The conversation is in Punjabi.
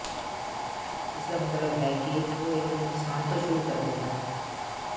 ਇਸਦਾ ਮਤਲਬ ਹੈ ਕਿ ਉਹ ਇੱਕ ਨੁਕਸਾਨ ਤੋਂ ਸ਼ੁਰੂ ਕਰਦੇ ਹਨ